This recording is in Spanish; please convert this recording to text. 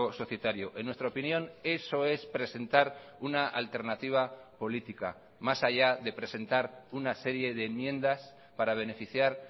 societario en nuestra opinión eso es presentar una alternativa política más allá de presentar una serie de enmiendas para beneficiar